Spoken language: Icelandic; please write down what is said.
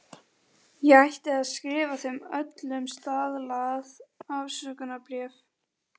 Ég ætti að skrifa þeim öllum staðlað afsökunarbréf.